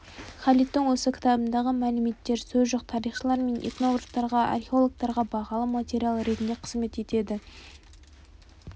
халидтің осы кітабындағы мәліметтер сөз жоқ тарихшылар мен этнографтарға археологтарға бағалы материал ретінде қызмет етеді